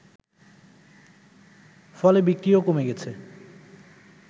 ফলে বিক্রিও কমে গেছে